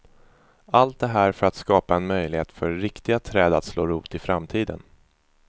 Allt det här för att skapa en möjlighet för riktiga träd att slå rot i framtiden.